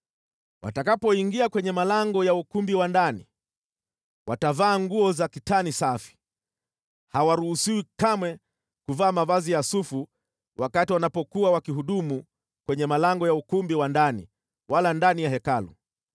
“ ‘Watakapoingia kwenye malango ya ukumbi wa ndani, watavaa nguo za kitani safi, hawaruhusiwi kamwe kuvaa mavazi ya sufu wakati wanapokuwa wakihudumu kwenye malango ya ukumbi wa ndani wala ndani ya Hekalu.